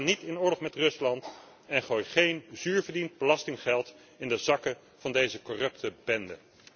Ga niet in oorlog met Rusland en gooi geen zuur verdiend belastinggeld in de zakken van deze corrupte bende.